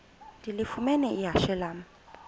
ndilifumene ihashe lam